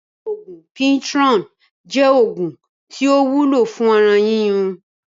Oògún PIRITON jẹ́ oògùn tí ó wúlò fún ara yíyún